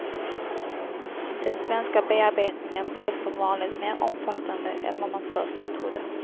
Den svenska bearbetningen blev som vanligt mer omfattande än vad man först trodde.